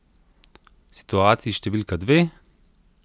Situaciji številka dve?